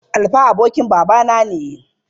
Alfa abokin babana ne.